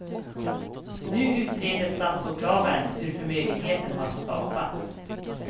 Nu utreder statsåklagaren hur förmögenheten har skapats.